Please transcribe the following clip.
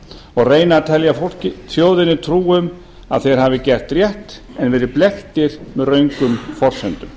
og reyna að telja þjóðinni trú um að þeir hafi gert rétt en verið blekktir með röngum forsendum